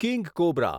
king cobra